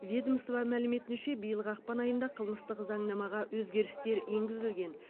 ведомство мәліметінше биылғы ақпан айында қылмыстық заңнамаға өзгерістер енгізілген